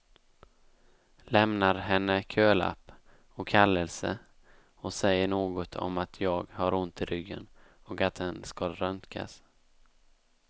Lämnar henne kölapp och kallelse och säger något om att jag har ont i ryggen och att den skall röntgas.